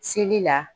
Seli la